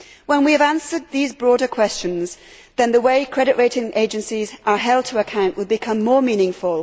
When we have answered these broader questions, then the way credit rating agencies are held to account will become more meaningful.